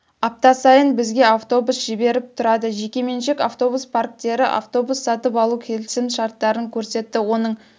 апта сайын бізге автобус жіберіп тұрады жекеменшік автобус парктері автобус сатып алуға келісімшарттарын көрсетті оның